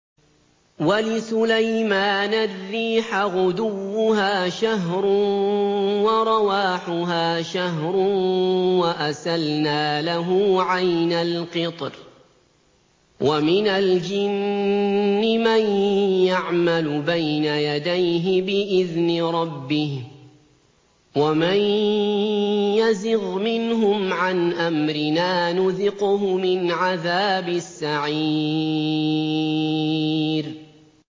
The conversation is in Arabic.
وَلِسُلَيْمَانَ الرِّيحَ غُدُوُّهَا شَهْرٌ وَرَوَاحُهَا شَهْرٌ ۖ وَأَسَلْنَا لَهُ عَيْنَ الْقِطْرِ ۖ وَمِنَ الْجِنِّ مَن يَعْمَلُ بَيْنَ يَدَيْهِ بِإِذْنِ رَبِّهِ ۖ وَمَن يَزِغْ مِنْهُمْ عَنْ أَمْرِنَا نُذِقْهُ مِنْ عَذَابِ السَّعِيرِ